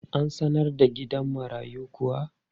An sanar da gidan marayun kuwa?